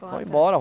Vão embora.